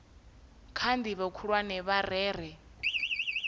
kha ndivho khulwane vha rere